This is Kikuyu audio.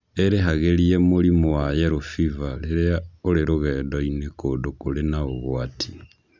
Ĩrĩhagĩrie mũrimũ wa yellow fever rĩrĩa ũrĩ rũgendo-inĩ kũndũ kũrĩ na ũgwati.